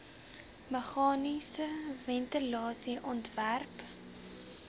meganiese ventilasie ontwerp